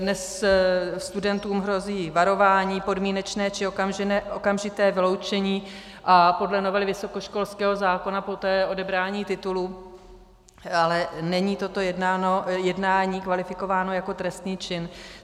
Dnes studentům hrozí varování, podmínečné či okamžité vyloučení a podle novely vysokoškolského zákona poté odebrání titulu, ale není toto jednání kvalifikováno jako trestný čin.